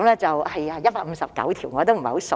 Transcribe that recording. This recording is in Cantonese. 是的 ，159 條。